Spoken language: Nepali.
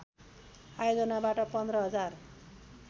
आयोजनाबाट १५ हजार